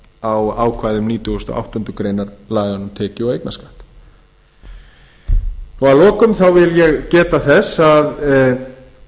á ákvæðum nítugasta og áttunda laganna um tekju og eignarskatt að lokum vil ég geta þess að